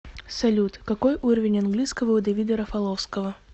салют какой уровень английского у давида рафаловского